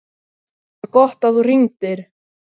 ÞAÐ VAR GOTT AÐ ÞÚ HRINGDIR.